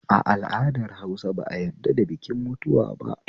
A al'adar Hausa ba a yadda da bikin mutuwa ba?